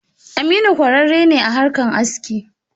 Aminu kwarare ne a harkan aski.